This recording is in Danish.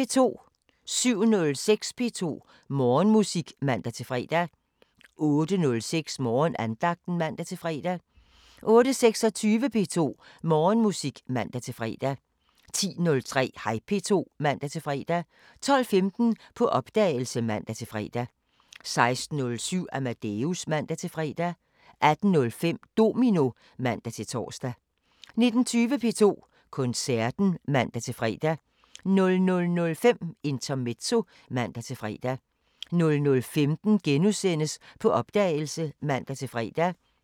07:06: P2 Morgenmusik (man-fre) 08:06: Morgenandagten (man-fre) 08:26: P2 Morgenmusik (man-fre) 10:03: Hej P2 (man-fre) 12:15: På opdagelse (man-fre) 16:07: Amadeus (man-fre) 18:05: Domino (man-tor) 19:20: P2 Koncerten (man-fre) 00:05: Intermezzo (man-fre) 00:15: På opdagelse *(man-fre)